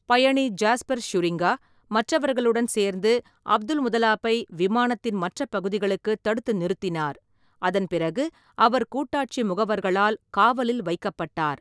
பயணி Jasper Schuringa, மற்றவர்களுடன் சேர்ந்து, அப்துல்முதல்லாப்பை விமானத்தின் மற்ற பகுதிகளுக்குத் தடுத்து நிறுத்தினார், அதன் பிறகு அவர் கூட்டாட்சி முகவர்களால் காவலில் வைக்கப்பட்டார்.